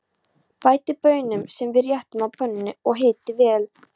Bætið baununum saman við réttinn á pönnunni og hitið vel.